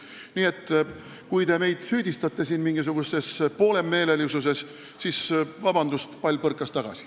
Nii et kui te meid siin mingisuguses poolemeelsuses süüdistate, siis palun vabandust, aga pall põrkas tagasi.